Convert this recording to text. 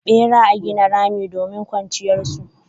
Bera a gina rami domin kwanciyar su.